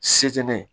Setinɛ